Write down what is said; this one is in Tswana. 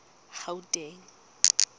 gauteng